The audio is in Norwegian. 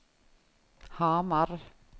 Hamar